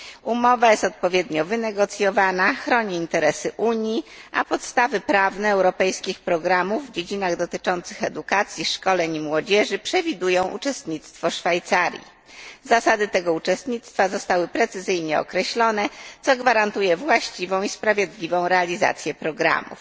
Umowa jest odpowiednio wynegocjowana, chroni interesy Unii, a podstawy prawne europejskich programów w dziedzinach dotyczących edukacji, szkoleń i młodzieży przewidują uczestnictwo Szwajcarii. Zasady tego uczestnictwa zostały precyzyjnie określone, co gwarantuje właściwą i sprawiedliwą realizację programów.